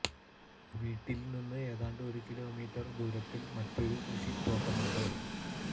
വീട്ടില് നിന്ന് ഏതാണ്ട് ഒരു കിലോമീറ്റര് ദൂരത്തില് മറ്റൊരു കൃഷി തോട്ടമുണ്ട്